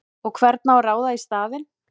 Og hvern á að ráða í staðinn?!